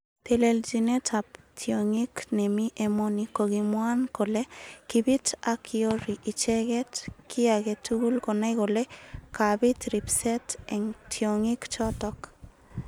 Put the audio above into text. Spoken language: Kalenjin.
Teleljinet ab tyongik nemi emoni kokimwankole kibit ak yori icheket ki age tugul konai kole kabit ribset eng tyongik chotok.